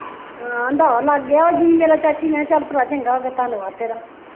ਹਾਂ ਆਂਦਾ ਵਾ ਲਗ ਗਿਆ ਵਾ ਜੀ ਮੇਰਾ ਚਾਚੀ ਮੈਂ ਚੱਲ ਭਰਾ ਚੰਗਾ ਹੋ ਗਿਆ ਧੰਨਵਾਦ ਤੇਰਾ